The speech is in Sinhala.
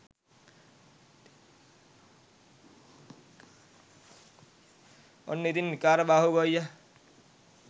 ඔන්න ඉතින් විකාරබාහු ගොයියා